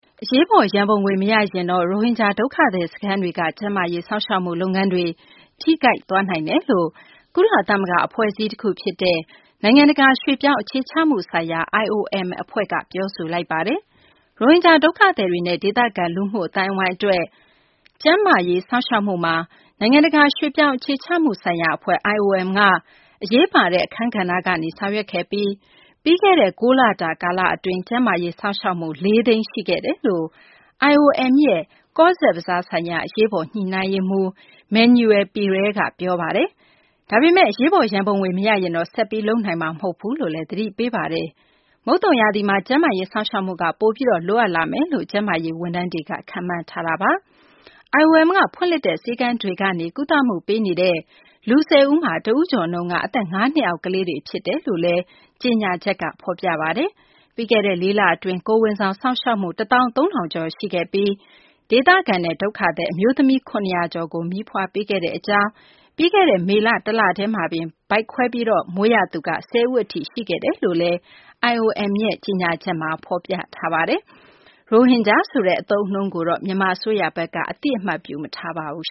အရေးပေါ် ရန်ပုံငွေ မရရင် ရိုဟင်ဂျာ ဒုက္ခသည် စခန်းတွေက ကျန်းမာရေး စောင့်ရှောက်မှု လုပ်ငန်းတွေ ထိခိုက်နိုင်တယ်လို့ ကုလသမဂ္ဂ အဖွဲ့အစည်း တခုဖြစ်တဲ့ နိုင်ငံတကာ ရွှေ့ပြောင်းအခြေချမှုဆိုင်ရာ IOM အဖွဲ့က ပြောဆိုလိုက်ပါတယ်။ ရိုဟင်ဂျာ ဒုက္ခသည်တွေနဲ့ ဒေသခံ လူမှုအသိုင်းအဝိုင်း အတွက် ကျန်းမာရေး စောင့်ရှောက်မှုမှာ နိုင်ငံတကာ ရွှေ့ပြောင်းအခြေချမှုဆိုင်ရာ အဖွဲ့ IOM က အရေးပါတဲ့ အခန်းကဏ္ဍကနေ ဆောင်ရွက်ခဲ့ပြီး ပြီးခဲ့တဲ့ ၉ လတာ ကာလ အတွင်း ကျန်းမာရေး စောင့်ရှောက်မှု ၄ သိန်း ရှိခဲ့ကြောင်း IOM ရဲ့ ကောဇ့်ဘဇား ဆိုင်ရာ အရေးပေါ် ညှိနှိုင်းရေးမှူး Manuel Periera က ပြောပါတယ်။ ဒါပေမယ့် အရေးပေါ် ရံပုံငွေ မရရင်တော့ ဆက်ပြီး လုပ်နိုင်တော့မှာ မဟုတ်ဘူးလို့လည်း သတိပေးပါတယ်။ မုတ်သုံရာသီမှာ ကျန်းမာရေး စောင့်ရှောက်မှုက ပိုပြီး လိုအပ်လာမယ်လို့လည်း ကျန်းမာရေး ဝန်ထမ်းတွေက ခန့်မှန်းထားတာပါ။ IOM ကဖွင့်လှစ်တဲ့ ဆေးခန်းတွေကနေ ကုသမှု ပေးနေတဲ့ လူ ၁၀ ဦးမှာ တဦးကျော်နှုန်းက အသက် ၅ နှစ်အောက် ကလေးငယ်တွေ ဖြစ်တယ်လို့လည်း ကြေညာချက်မှာ ဖော်ပြပါတယ်။ ပြီးခဲ့တဲ့ လေးလ အတွင်း ကိုယ်ဝန်ဆောင် စောင့်ရှောက်မှု ၁ သောင်း ၃ ထောင်ကျော် ရှိခဲ့ပြီး ဒေသခံနဲ့ ဒုက္ခသည် အမျိုးသမီး ၇၀၀ ကျော်ကို မီးဖွားပေးခဲ့ကြောင်း၊ ပြီးခဲ့တဲ့ မေလ တလတည်းမှာတင် ဗိုက်ခွဲမွေးဖွားရသူက ၁၀ ဦးထိ ရှိခဲ့တယ်လို့လည်း IOM ရဲ့ ကြေညာချက်မှာ ဖော်ပြထားပါတယ်။ ရိုဟင်ဂျာ ဆိုတဲ့ အသုံးအနှုန်းကို မြန်မာ အစိုးရက အသိအမှတ် မပြုပါဘူး